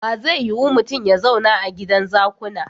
Ba zai yiu mutun ya zauna a gidan zakuna.